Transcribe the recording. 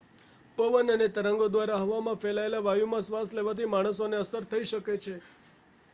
પવન અને તરંગો દ્વારા હવામાં ફેલાયેલ વાયુમાં શ્વાસ લેવાથી માણસોને અસર થઈ શકે છે